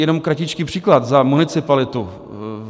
Jenom kratičký příklad za municipalitu.